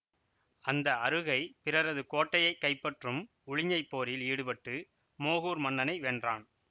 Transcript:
அந்த அறுகை பிறரது கோட்டையை கைப்பற்றும் உழிஞைப்போரில் ஈடுபட்டு மோகூர் மன்னனை வென்றான்